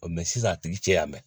sisan a tigi cɛya mɛn